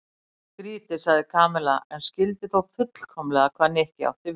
Skrýtið sagði Kamilla en skildi þó fullkomlega hvað Nikki átti við.